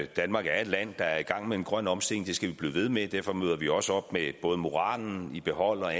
danmark er et land der er i gang med en grøn omstilling det skal vi blive ved med at derfor møder vi også op med både moralen i behold og